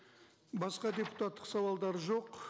басқа депутаттық сауалдар жоқ